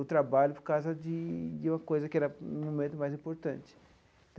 o trabalho por causa de de uma coisa que era, num momento, mais importante.